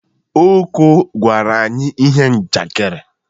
Oko gwara anyi ihe njakịrị.